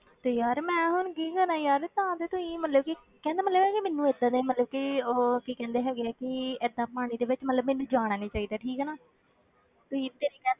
ਤੇ ਯਾਰ ਮੈਂ ਹੁਣ ਕੀ ਕਰਾਂ ਯਾਰ ਭਾਵ ਤੇ ਤੁਸੀਂ ਮਤਲਬ ਕਹਿਣ ਦਾ ਮਤਲਬ ਇਹ ਹੋਇਆ ਕਿ ਮੈਨੂੰ ਏਦਾਂ ਦੇ ਮਤਲਬ ਕਿ ਉਹ ਕੀ ਕਹਿੰਦੇ ਹੈਗੇ ਆ ਕਿ ਏਦਾਂ ਪਾਣੀ ਦੇ ਵਿੱਚ ਮਤਲਬ ਮੈਨੂੰ ਜਾਣਾ ਨੀ ਚਾਹੀਦਾ ਠੀਕ ਹੈ ਨਾ ਤੁਸੀਂ ਤੇ